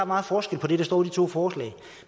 meget forskel på det der står i to forslag